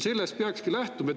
Sellest peakski lähtuma.